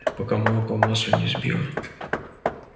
пока молоко в масло не сбила